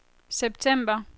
september